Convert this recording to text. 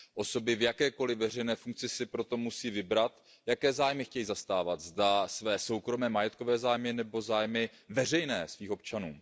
Osoby v jakékoliv veřejné funkci si proto musí vybrat, jaké zájmy chtějí zastávat, zda své soukromé majetkové zájmy, nebo zájmy veřejné, svých občanů.